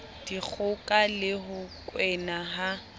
dikgoka le ho kwena ha